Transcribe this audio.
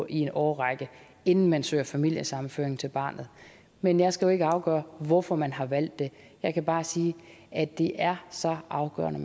en årrække inden man søger familiesammenføring til barnet men jeg skal jo ikke afgøre hvorfor man har valgt det jeg kan bare sige at det er så afgørende